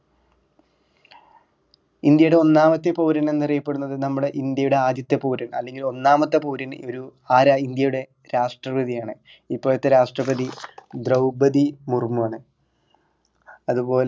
ഇന്ത്യയുടെ ഒന്നാമത്തെ പൗരൻ എന്നറിയപ്പെടുന്നത് നമ്മുടെ ഇന്ത്യയുടെ ആദ്യത്തെ പൗരൻ അല്ലെങ്കിൽ ഒന്നാമത്തെ പൗരൻ ഒരു ആരാ ഇന്ത്യയുടെ രാഷ്‌ട്രപതി ആണ് ഇപ്പോഴത്തെ രാഷ്‌ട്രപതി ദ്രൗപതി മുർമു ആണ് അതുപോലെ